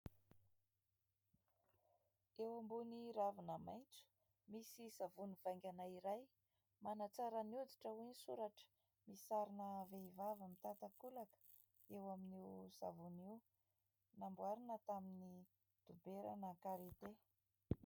Eo ambony ravina maitso misy savony vaingana iray manatsara ny hoditra hoy ny soratra. Misy sarina vehivavy mitan-takolaka eo amin'io savony io. Namboarina tamin'ny doberana "karite".